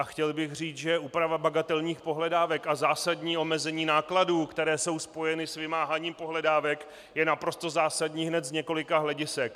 A chtěl bych říct, že úprava bagatelních pohledávek a zásadní omezení nákladů, které jsou spojeny s vymáháním pohledávek, je naprosto zásadní hned z několika hledisek.